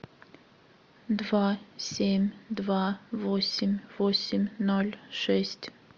два семь два восемь восемь ноль шесть